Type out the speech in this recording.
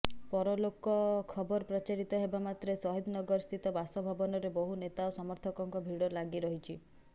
ପରଲୋକ ଖବର ପ୍ରଚାରିତ ହେବାମାତ୍ରେ ସହିଦନଗରସ୍ଥିତ ବାସଭବନରେ ବହୁ ନେତା ଓ ସମର୍ଥକଙ୍କ ଭିଡ଼ ଲାଗିରହିଛି